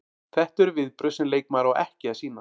Þetta eru viðbrögð sem leikmaður á ekki að sýna.